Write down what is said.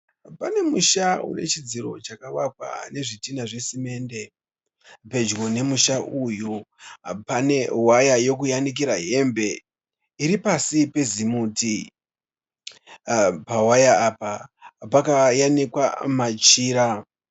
Pane musha wechidziro chakavakwa chezvidhina zvesimende. Pedyo nemusha uyu pane waya yekuyanikira hembe iri pasi pezimuti. Pawaya apa pakayanikwa machira.